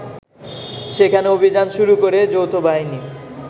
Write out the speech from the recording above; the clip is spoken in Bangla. সেখানে অভিযান শুরু করে যৌথবাহিনী